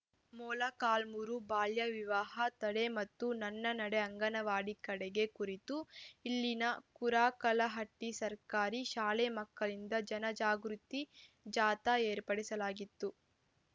ಮೊಳಕಾಲ್ಮುರು ಬಾಲ್ಯ ವಿವಾಹ ತಡೆ ಮತ್ತು ನನ್ನ ನಡೆ ಅಂಗನವಾಡಿ ಕಡೆಗೆ ಕುರಿತು ಇಲ್ಲಿನ ಕುರಾಕಲಹಟ್ಟಿಸರ್ಕಾರಿ ಶಾಲೆ ಮಕ್ಕಳಿಂದ ಜನಜಾಗೃತಿ ಜಾಥಾ ಏರ್ಪಡಿಸಲಾಗಿತ್ತು